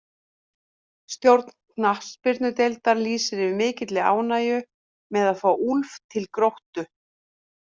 Stjórn knattspyrnudeildar lýsir yfir mikilli ánægju með að fá Úlf til Gróttu.